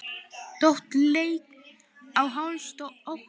Tóti lék á als oddi.